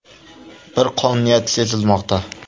Bir qonuniyat sezilmoqda.